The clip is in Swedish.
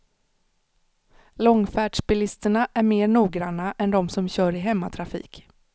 Långfärdsbilisterna är mer noggranna än de som kör i hemmatrafik.